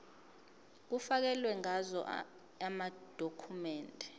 kufakelwe ngazo amadokhumende